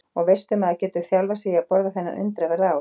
Og veistu maður getur þjálfað sig í að borða þennan undraverða ávöxt.